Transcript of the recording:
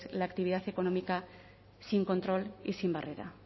la actividad económica sin control y sin barrera